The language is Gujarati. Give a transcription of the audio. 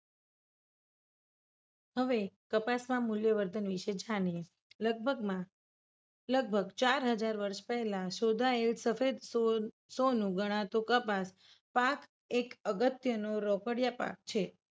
હવે કપાસ માં મૂલ્યવર્ધન વિશે જાણીએ. લગભગમાં લગભગ ચાર હજાર વર્ષ પહેલા શોધાયેલું સોનું ગણાતું કપાસ પાક એક અગત્ય નું રોકડીયા પાક છે.